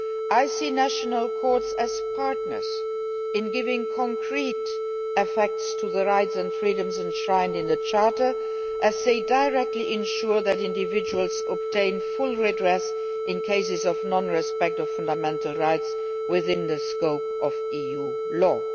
I see national courts as partners in giving concrete effect to the rights and freedoms enshrined in the Charter, as they directly ensure that individuals obtain full redress in cases of non respect of fundamental rights within the scope of EU law.